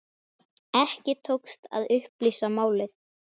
Ekki tókst að upplýsa málið.